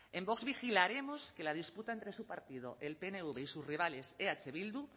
en vox vigilaremos que la disputa entre su partido el pnv y sus rivales eh bildu